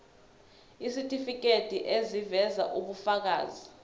isitifiketi eziveza ubufakazi